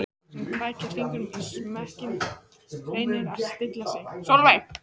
Hún krækir fingrum í smekkinn, reynir að stilla sig.